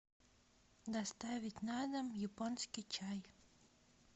доставить на дом японский чай